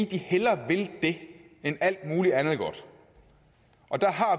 de hellere vil det end alt muligt andet godt der